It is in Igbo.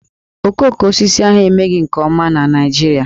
Okoko osisi ahụ emeghị nke ọma na Naịjirịa